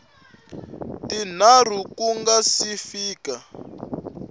tinharhu ku nga si fika